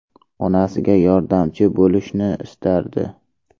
Onasiga yordamchi bo‘lishni istardi.